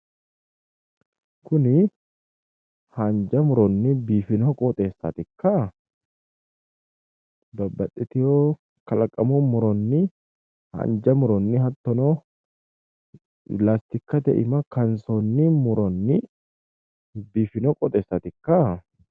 Kuni haanja muronni biifino qoxeessaatikka babbaxxitewo kalaqamu muronni haanja muronni hattono latikkate iima kaansonni muronni biifino qooxeessaatikka